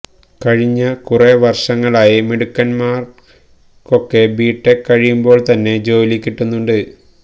കഴിഞ്ഞ കുറേ വർഷങ്ങളായി മിടുക്കന്മാർക്കൊക്കെ ബി ടെക് കഴിയുമ്പോൾത്തന്നെ ജോലി കിട്ടുന്നുണ്ട്